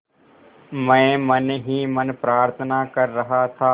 मैं मन ही मन प्रार्थना कर रहा था